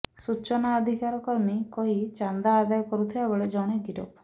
ସୂଚନା ଅଧିକାର କର୍ମୀ କହି ଚାନ୍ଦା ଆଦାୟ କରୁଥିବାବେଳେ ଜଣେ ଗିରଫ